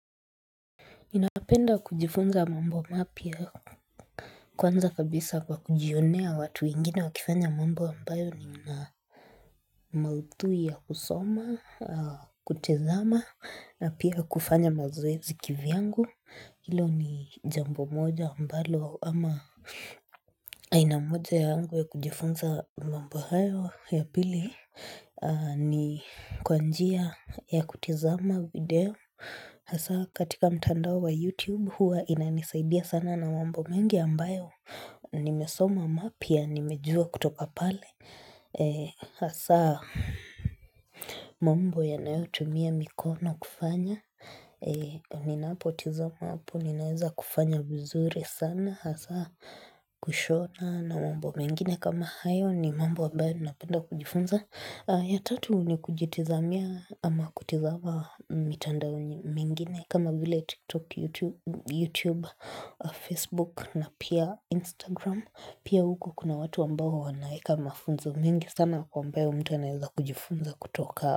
Napenda kujifunza mambo mapya kwanza kabisa kwa kujionea watu wengine wakifanya mambo ambayo ni mna maudhui ya kusoma ya kutizama na pia kufanya mazoezi kivyangu ilo ni jambo moja ambalo ama aina moja yangu ya kujifunza mambo hayo ya pili ni kwa njia ya kutizama video Hasa katika mtandao wa youtube Huwa inanisaidia sana na mambo mengi ambayo Nimesoma mapya nimejua kutoka pale Hasa mambo yanayotumia mikono kufanya Ninapotizama hapo ninaeza kufanya vizuri sana Hasa kushona na mambo mengine kama hayo ni mambo ambayo napenda kujifunza ya tatu nikujitizamia ama kutizama mitandao mingine kama vile tiktok, YouTube youtube, facebook na pia instagram Pia huko kuna watu ambao wanaeka mafunzo mingi sana kwa ambayo mtu anaeza kujifunza kutoka.